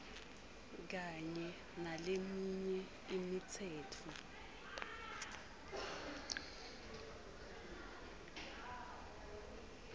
kanye naleminye imitsetfo